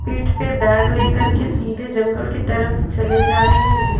पीठ पे बैग ले कर के सीधे जंगल के तरफ चले जा रहे हैं।